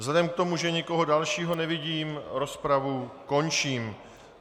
Vzhledem k tomu, že nikoho dalšího nevidím, rozpravu končím.